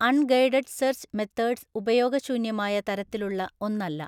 അണ്‍ guided search methods ഉപയോഗശൂന്യമായ തരത്തിലുള്ള ഒന്നല്ല.